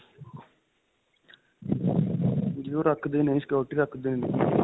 ਜੀ ਓਹ ਰਖਦੇ ਨੇ security ਰੱਖਦੇ ਨੇ ਜੀ .